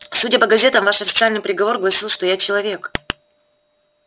судя по газетам ваш официальный приговор гласил что я человек